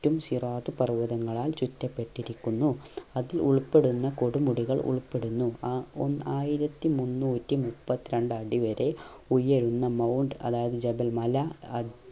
റ്റും സിറാത് പർവ്വതങ്ങളാൽ ചുറ്റപ്പെട്ടിരിക്കുന്നു അതിൽ ഉൾപ്പെടുന്ന കൊടുമുടികൾ ഉൾപ്പെടുന്നു ആ ആയിരത്തി മുന്നൂറ്റി മുപ്പത്രണ്ടടി വരെ ഉയരുന്ന mount അതായത് ജബൽ മല